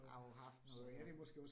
Har jo haft noget andet